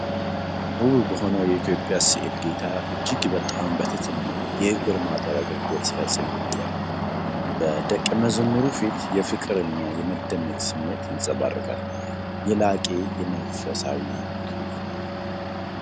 ውብ በሆነ የኢትዮጵያ ሥዕል ጌታ እጅግ በጣም በትሕትና የእግር ማጠብ አገልግሎት ሲፈጽም ይታያል። በደቀመዝሙሩ ፊት የፍቅርና የመደነቅ ስሜት ይንፀባረቃል። የላቀ የመንፈሳዊ ትሩፋት ነው።